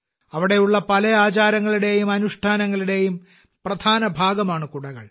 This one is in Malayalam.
അവിടെയുള്ള പല ആചാരങ്ങളുടെയും അനുഷ്ഠാനങ്ങളുടെയും പ്രധാന ഭാഗമാണ് കുടകൾ